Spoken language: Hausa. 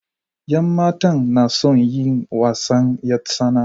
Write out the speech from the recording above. yan matan na son yin wasan 'yartsana.